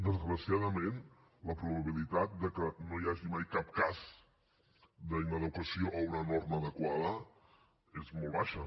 desgraciadament la probabilitat que no hi hagi mai cap cas d’inadequació a una norma adequada és molt baixa